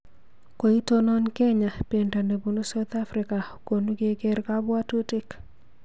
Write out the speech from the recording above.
Koitonon Kenya bendo nebunu Sauthafrika konu kener kabwotutik